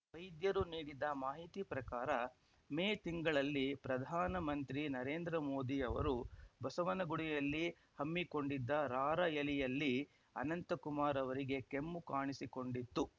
ವೈದ್ಯರು ನೀಡಿದ ಮಾಹಿತಿ ಪ್ರಕಾರ ಮೇ ತಿಂಗಳಲ್ಲಿ ಪ್ರಧಾನಮಂತ್ರಿ ನರೇಂದ್ರ ಮೋದಿ ಅವರು ಬಸವನಗುಡಿಯಲ್ಲಿ ಹಮ್ಮಿಕೊಂಡಿದ್ದ ರಾರ‍ಯಲಿಯಲ್ಲಿ ಅನಂತಕುಮಾರ್‌ ಅವರಿಗೆ ಕೆಮ್ಮು ಕಾಣಿಸಿಕೊಂಡಿತ್ತು